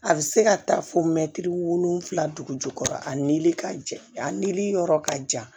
A bɛ se ka taa fo wolonwula dugu jukɔrɔ a nili ka jɛ a nili yɔrɔ ka jan